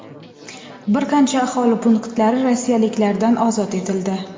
bir qancha aholi punktlari rossiyaliklardan ozod etildi.